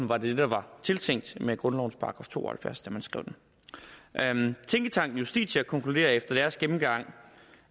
var det der er tiltænkt med grundlovens § to og halvfjerds da man skrev den tænketanken justitia konkluderer efter deres gennemgang